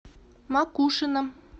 макушино